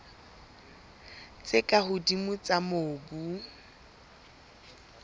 tse ka hodimo tsa mobu